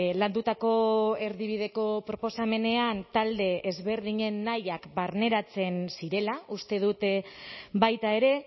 landutako erdibideko proposamenean talde ezberdinen nahiak barneratzen zirela uste dut baita ere